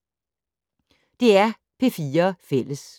DR P4 Fælles